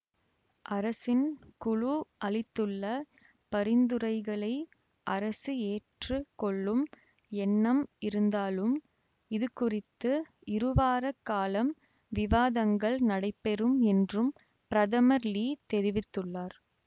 அரசின் குழு அளித்துள்ள பரிந்துரைகளை அரசு ஏற்று கொள்ளும் எண்ணம் இருந்தாலும் இது குறித்து இருவார காலம் விவாதங்கள் நடைபெறும் என்றும் பிரதமர் லீ தெரிவித்துள்ளார்